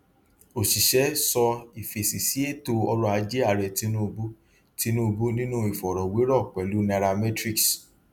òṣìṣẹ sọ ìfèsì sí ètò ọrọ ajé ààrẹ tinubu tinubu nínú ìfọrọwérọ pẹlú nairametrics